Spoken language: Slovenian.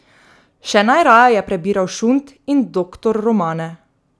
Še najraje je prebiral šund in doktor romane.